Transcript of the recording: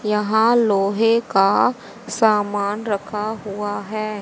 यहां लोहे का सामान रखा हुआ है।